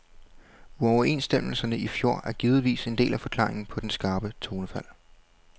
Uoverenstemmelserne i fjor er givetvis en del af forklaringen på det skarpe tonefald.